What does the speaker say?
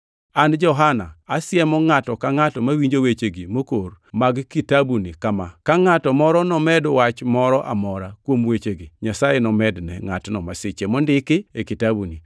An Johana asiemo ngʼato ka ngʼato mawinjo wechegi mokor mag kitabuni kama: Ka ngʼato moro nomed wach moro amora kuom wechegi, Nyasaye nomedne ngʼatno masiche mondik e kitabuni.